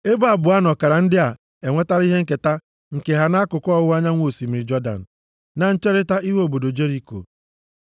Ebo abụọ nʼọkara ndị a enwetala ihe nketa nke ha nʼakụkụ ọwụwa anyanwụ osimiri Jọdan, na ncherita ihu obodo Jeriko.”